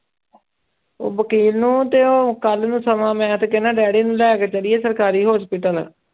ਉਹ ਵਕੀਲ ਨੂੰ ਤੇ ਉਹ ਕੱਲ੍ਹ ਨੂੰ ਸਮਾਂ ਮੈਂ ਤੇ ਕਹਿਨਾ ਡੈਡੀ ਨੂੰ ਲੈ ਕੇ ਚੱਲੀਏ ਸਰਕਾਰੀ hospital